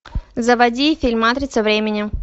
заводи фильм матрица времени